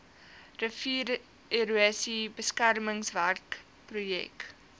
riviererosie beskermingswerke projek